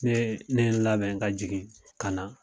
Ne ye, ne ye n labɛn ka jigin ka na.